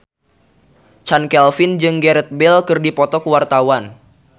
Chand Kelvin jeung Gareth Bale keur dipoto ku wartawan